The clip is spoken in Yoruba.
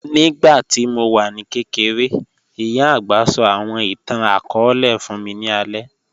Nígbàtí mó wà ní kẹ̀kẹ̀rẹ̀, ìyá agbá sọ̀ àwọn ìtàn-akọọlẹ̀ fún mí ní àlẹ̀